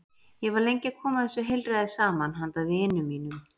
Ég var lengi að koma þessu heilræði saman handa vinum mínum.